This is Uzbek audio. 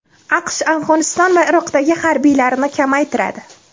AQSh Afg‘oniston va Iroqdagi harbiylarini kamaytiradi.